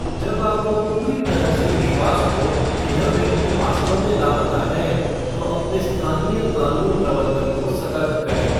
जब आप को पूरी तरह से विश्वास हो कि यह व्यक्ति वास्तव में लापता है, तो अपने स्थानीय कानून प्रवर्तन को सतर्क करें।